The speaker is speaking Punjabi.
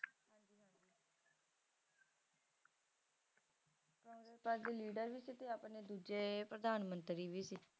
congress party ਦੇ leader ਵੀ ਸੀ ਤੇ ਆਪਣੇ ਦੂਜੇ ਪ੍ਰਧਾਨ ਮੰਤਰੀ ਵੀ ਸੀ